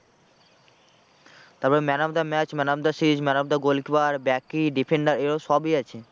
তারপর man of the match, man of the series, man of the goalkeeper, backy, defender এইগুলো সবই আছে।